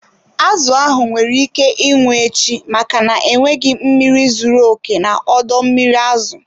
Azụ ahụ nwere ike ịnwụ echi, maka na enweghị mmiri zuru oke na ọdọ mmiri azụ.